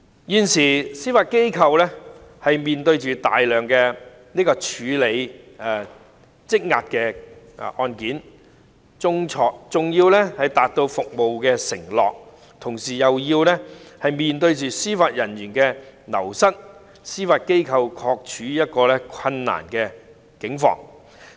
現時司法機構面對大量有待處理的積壓案件，既要達到服務承諾，又要面對司法人員人才流失的問題，的確處於一個困難的境況。